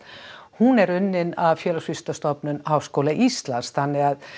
hún er unnin af Félagsvísindastofnun Háskóla Íslands þannig að